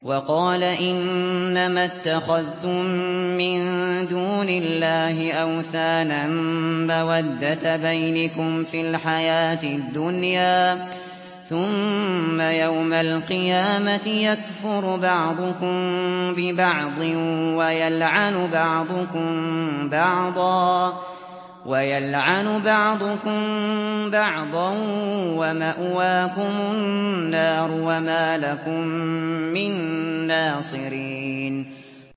وَقَالَ إِنَّمَا اتَّخَذْتُم مِّن دُونِ اللَّهِ أَوْثَانًا مَّوَدَّةَ بَيْنِكُمْ فِي الْحَيَاةِ الدُّنْيَا ۖ ثُمَّ يَوْمَ الْقِيَامَةِ يَكْفُرُ بَعْضُكُم بِبَعْضٍ وَيَلْعَنُ بَعْضُكُم بَعْضًا وَمَأْوَاكُمُ النَّارُ وَمَا لَكُم مِّن نَّاصِرِينَ